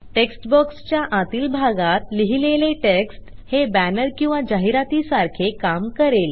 text बॉक्सच्या आतील भागात लिहिलेले टेक्स्ट हे बॅनर किंवा जाहिरातीसारखे काम करेल